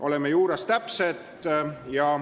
Oleme juriidiliselt täpsed.